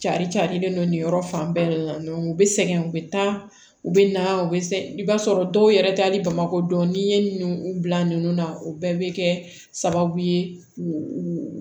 Cari carilen don nin yɔrɔ fan bɛɛ la u be sɛgɛn u be taa u be na u be i b'a sɔrɔ dɔw yɛrɛ t'ali bamakɔ dɔniɲinin u bila ninnu na o bɛɛ be kɛ sababu ye k'u u